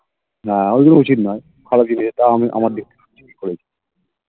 না ঐ গুলো উচিত না খারাপ জিনিস এটা আমি আমার দিক থেকে ঠিকই করেছি